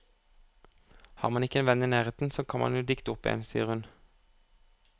Har man ikke en venn i nærheten, så kan man jo dikte opp en, sier hun.